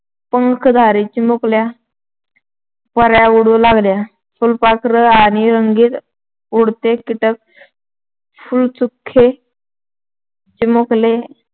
पंखधारी चिमुकल्या पऱ्या उडू लागल्या. फुलपाखरं आणि रंगीत उडते कीटक. फुलचुख चिमुकले.